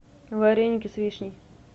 вареники с вишней